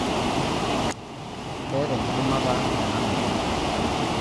Ketaa enkidimata ena moyian.